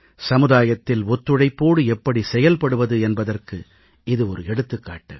சமுதாயத்தில் ஒத்துழைப்போடு எப்படி செயல்படுவது என்பதற்கு இது ஒரு எடுத்துக்காட்டு